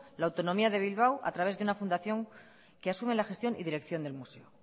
la autonomía de bilbao a través de una fundación que asume la gestión y dirección del museo